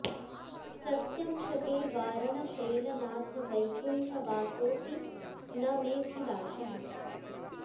सत्यं शपे वारण शैलनाथ वैकुण्ठ वासोऽपि न मेऽभिलाषः